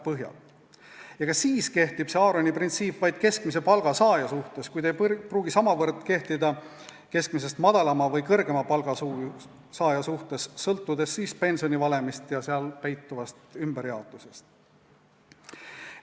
Ja ka siis kehtib Aaroni printsiip vaid keskmise palga saaja suhtes ega pruugi samavõrra kehtida keskmisest madalama või kõrgema palga saaja suhtes, sõltudes pensionivalemist ja selles peituvast ümberjaotusest.